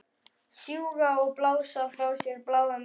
Sjúga og blása frá sér bláum reyk.